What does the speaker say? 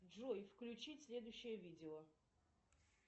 джой включить следующее видео